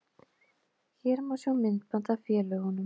Hér má sjá myndband af félögunum